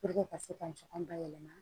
ka se ka ɲɔgɔn bayɛlɛma